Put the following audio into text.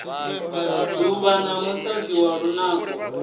dzuvha na musadzi wa lunako